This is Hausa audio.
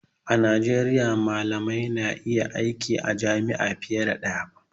A Najeriya malamai na iya aiki a jami'a fiye da ɗaya